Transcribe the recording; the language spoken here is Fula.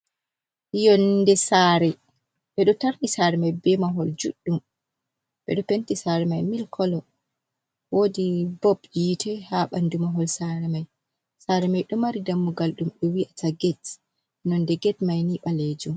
Yonde sare, ɓeɗo tarni sare mai be mahol juɗɗum, ɓeɗo penti sare mai mil kolo, wodi bob yite ha nɓandu mahol sare mai. sare mai ɗo mari dammugal dum ɓe wi'ata get nonde get mai ni ɓalejum.